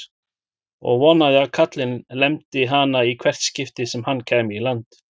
Og vonaði að kallinn lemdi hana í hvert skipti sem hann kæmi í land!